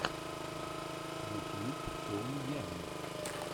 ютьюб соу ямми